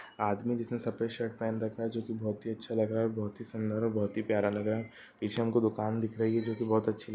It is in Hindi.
आदमी जिसने सफेद शर्ट पहन के रखा हैं जो कि बहोत अच्छा लग रहा हैं जो कि बहोत ही सुंदर हैं जो कि बहोत ही प्यारा लग रहा हैं पीछे हमको दुकान दिख रही हैं वह बहोत अच्छी लग--